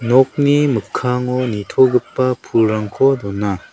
nokni mikkango nitogipa pulrangko dona.